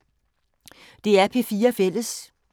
DR P4 Fælles